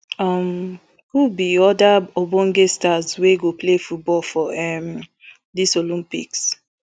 um who be oda ogbonge stars wey go play football for um dis olympics